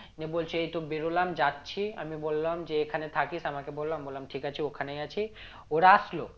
দিয়ে বলছে এইতো বেরোলাম যাচ্ছি আমি বললাম যে এখানে থাকিস আমাকে বললো বললাম ঠিক আছে ওখানেই আছি ওরা আসলো